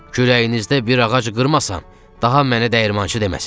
Kürəyinizdə bir ağac qırmasan, daha mənə dəyirmançı deməsinlər.